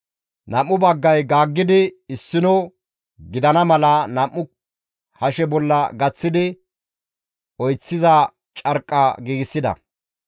Nam7u baggay gaaggidi issino gidana mala nam7u hashe bolla gaththidi oyththiza carqqa giigsida.